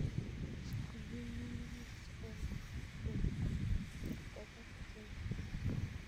Bubuny ng'ung'unyek sikoribok beek ak koget chemasai.